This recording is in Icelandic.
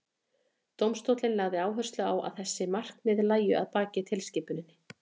dómstóllinn lagði áherslu á að þessi markmið lægju að baki tilskipuninni